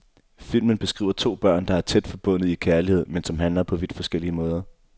Filmen beskriver to børn, der er tæt forbundet i kærlighed, men som handler på vidt forskellige måder.